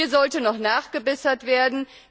Hier sollte noch nachgebessert werden.